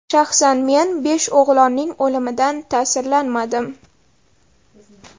Shaxsan men besh o‘g‘lonning o‘limidan ta’sirlanmadim.